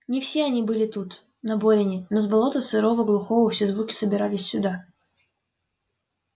не все они были тут на борине но с болота сырого глухого все звуки собирались сюда